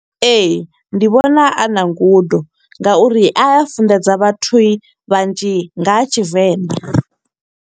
Ee, ndi vhona a na ngudo, nga uri a a funḓedza vhathu vhanzhi nga ha Tshivenḓa.